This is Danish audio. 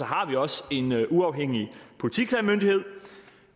har vi også en uafhængig politiklagemyndighed